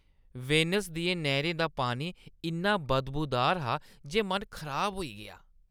Venice दियें नैह्‌रें दा पानी इन्ना बदबूदार हा जे मन खराब होई गेआ।